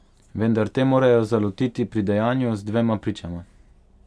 Vendar te morajo zalotiti pri dejanju, z dvema pričama.